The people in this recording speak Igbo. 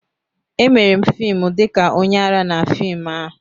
Emere m fim dị ka onye ara na fim ahụ.